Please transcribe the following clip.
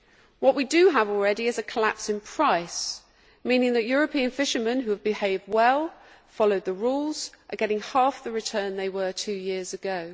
What we do have already is a collapse in price, meaning that European fishermen who have behaved well and followed the rules are getting half the returns they were getting two years ago.